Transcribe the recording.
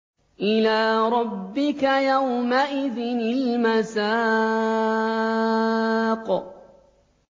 إِلَىٰ رَبِّكَ يَوْمَئِذٍ الْمَسَاقُ